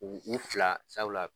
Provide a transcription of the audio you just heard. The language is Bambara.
U u fila sabula